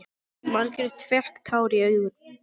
Margrét fékk tár í augun.